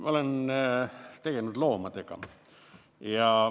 Ma olen tegelenud loomadega.